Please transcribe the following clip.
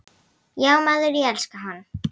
Já maður, ég elska hann.